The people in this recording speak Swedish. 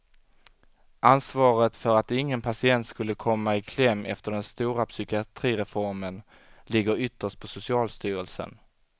Ansvaret för att ingen patient skulle komma i kläm efter den stora psykiatrireformen ligger ytterst på socialstyrelsen.